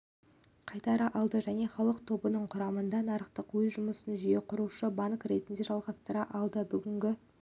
қайтара алды және халық тобының құрамында нарықта өз жұмысын жүйеқұрушы банк ретінде жалғастыра алды бүгінгі